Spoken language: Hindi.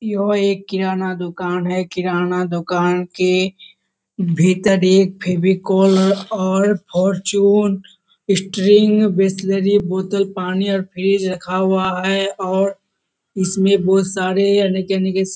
यह एक किराना दुकान है किराना दुकान के भीतर एक फेविकोल और फॉर्चून स्ट्रिंग बिसलेरी बोतल पानी और फ्रिज रखा हुआ है और इसमें बहुत सारे अनेक अनेक --